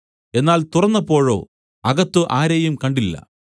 എന്നാൽ തുറന്നപ്പോഴോ അകത്ത് ആരെയും കണ്ടില്ല